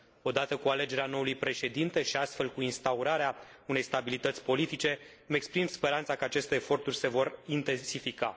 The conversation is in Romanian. Odată cu alegerea noului președinte și, astfel, cu instaurarea unei stabilități politice, îmi exprim speranța că aceste eforturi se vor intensifica.